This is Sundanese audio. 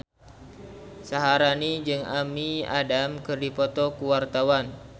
Syaharani jeung Amy Adams keur dipoto ku wartawan